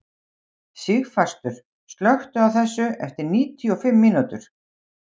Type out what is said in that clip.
Sigfastur, slökktu á þessu eftir níutíu og fimm mínútur.